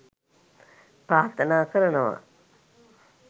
ප්‍රාර්ථනා කරනවා